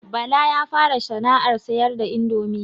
Bala ya fara sana'ar siyar da indomi